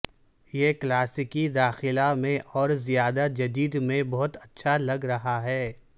یہ کلاسیکی داخلہ میں اور زیادہ جدید میں بہت اچھا لگ رہا ہے